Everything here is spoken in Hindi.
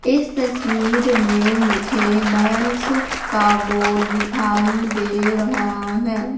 इस तस्वीर में मुझे नयनसुख का बोर्ड दिखाई दे रहा है।